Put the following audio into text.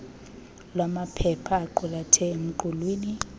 lwamaphepha aqulathwe emqulwini